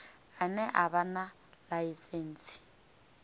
ane a vha na ḽaisentsi